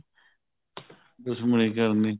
ਦੁਸ਼ਮਣੀ ਕਰਨੀ